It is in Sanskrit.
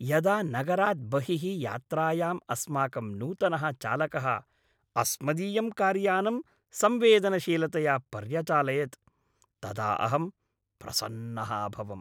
यदा नगरात् बहिः यात्रायाम् अस्माकं नूतनः चालकः अस्मदीयं कार्यानं संवेदनशीलतया पर्यचालयत् तदा अहं प्रसन्नः अभवम्।